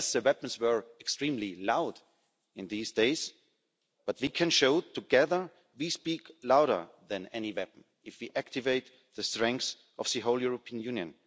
And yes the weapons were extremely loud in these days, but we can show together we speak louder than any weapon if we activate the strength of the whole European Union.